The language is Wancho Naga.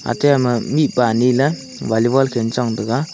ate ama mihpa nile volleyball khel chong tega.